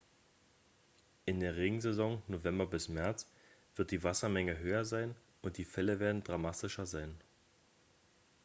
in der regensaison november bis märz wird die wassermenge höher sein und die fälle werden dramatischer sein